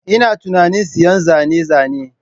Ina tunanin siyan zane-zane